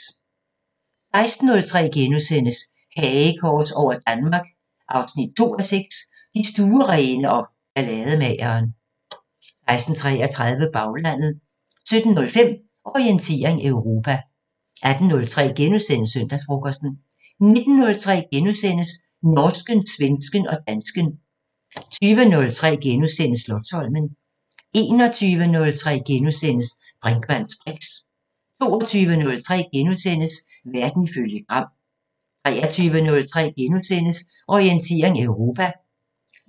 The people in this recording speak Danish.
16:03: Hagekors over Danmark 2:6 – Den stuerene og ballademageren * 16:33: Baglandet 17:05: Orientering Europa 18:03: Søndagsfrokosten * 19:03: Norsken, svensken og dansken * 20:03: Slotsholmen * 21:03: Brinkmanns briks * 22:03: Verden ifølge Gram * 23:03: Orientering Europa *